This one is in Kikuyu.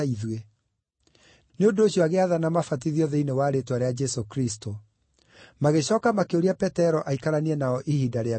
Nĩ ũndũ ũcio agĩathana mabatithio thĩinĩ wa rĩĩtwa rĩa Jesũ Kristũ. Magĩcooka makĩũria Petero aikaranie nao ihinda rĩa mĩthenya mĩnini.